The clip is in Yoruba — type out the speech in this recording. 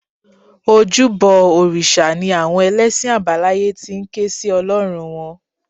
Ojúbọ òrìṣà ni àwọn ẹlẹ́sìn àbáláyé ti ń ké sí Ọlọ́run wọn